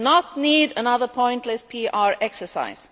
we do not need another pointless PR exercise.